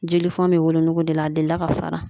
Jelifɔnw bɛ wolotogo de la, a delila ka fara.